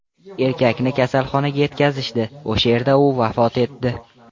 Erkakni kasalxonaga yetkazishdi, o‘sha yerda u vafot etdi.